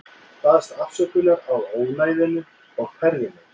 Baðst afsökunar á ónæðinu og færði mig.